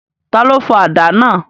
Ta ló fọ àdá náà?